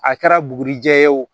A kɛra bugurijɛ ye o